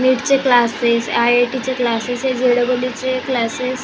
नीट चे classes IIT. चे classes हे जे.ई.ई. चे क्लासेस --